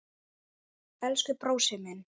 Elsku brósi minn.